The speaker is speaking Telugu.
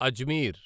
అజ్మీర్